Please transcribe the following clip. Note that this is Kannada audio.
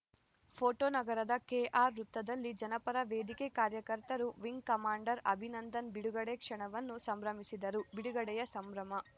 ಫೋಟೋ ನಗರದ ಕೆಆರ್‌ವೃತ್ತದಲ್ಲಿ ಜನಪರ ವೇದಿಕೆ ಕಾರ್ಯಕರ್ತರು ವಿಂಗ್‌ ಕಮಾಂಡರ್‌ ಅಭಿನಂದನ್‌ ಬಿಡುಗಡೆ ಕ್ಷಣವನ್ನು ಸಂಭ್ರಮಿಸಿದರು ಬಿಡುಗಡೆಯ ಸಂಭ್ರಮ